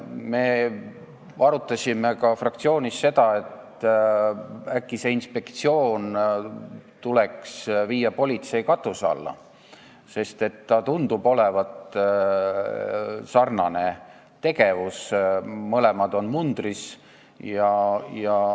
Me arutasime ka fraktsioonis seda, et äkki see inspektsioon tuleks viia politsei katuse alla, sest tegevus tundub olevat sarnane ja mõlemad on mundris.